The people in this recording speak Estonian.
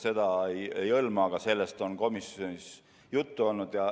Seda eelnõu otseselt ei hõlma, aga sellest on komisjonis juttu olnud.